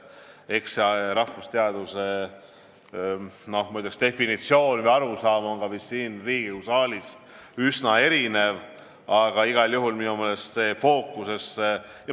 Eks rahvusteaduse definitsioone või arusaamu sellest ole ka siin Riigikogu saalis üsna erinevaid, aga igal juhul on minu meelest õige see fookusesse tõsta.